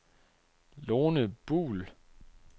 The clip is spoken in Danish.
Lone Buhl